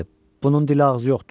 Bunun dili ağzı yoxdur?